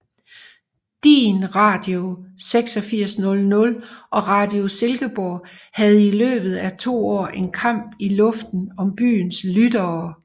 Din Radio 8600 og Radio Silkeborg havde i løbet af 2 år en kamp i luften om byens lyttere